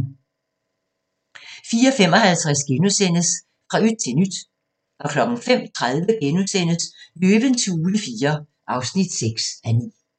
04:55: Fra yt til nyt * 05:30: Løvens hule IV (6:9)*